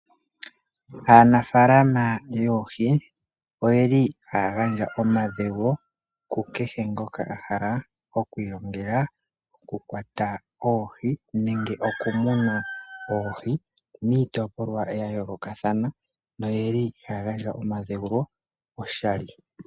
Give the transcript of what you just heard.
Aanafalama yoohi oyeli haya gandja omadhewulo ku kehe ngoka a hala oku ilongela oku kwata oohi nenge oku muna oohi miitopolwa yayolokathana. Noyeli ya gandja omadhewulo oshali.